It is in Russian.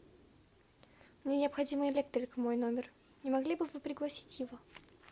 мне необходим электрик в мой номер не могли бы вы пригласить его